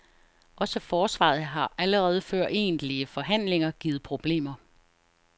Også forsvaret har allerede før egentlige forhandlinger givet problemer.